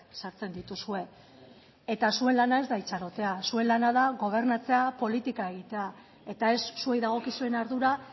sartzen dituzue eta zuen lana ez da itxarotea zuen lana da gobernatzea politika egitea eta ez zuei dagokizuen ardura